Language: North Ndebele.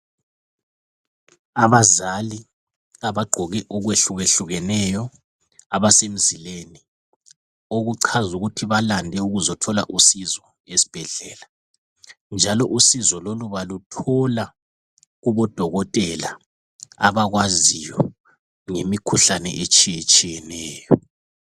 Abazali abagqoke okwehlukehlukeneyo abasemzileni okuchaza ukuthi balande ukuzothola usizo esibhedlela. Njalo usizo lolu baluthola kubodokotela abakwaziyo engeikhuhlane etshiyetshiyeneyo.